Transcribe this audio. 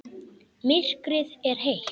Myrkrið er heitt.